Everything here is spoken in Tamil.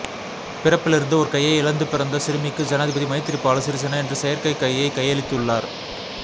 பிறப்பிலிருந்து ஒரு கையை இழந்து பிறந்த சிறுமிக்கு ஜனாதிபதி மைத்திரிபால சிறிசேன இன்று செயற்கை கையை கையளித்துள்ளார்